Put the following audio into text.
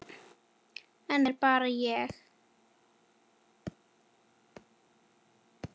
En þetta er bara ég.